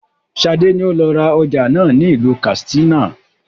Sade ni ó lọ ra ọjà náà ni ilu katsina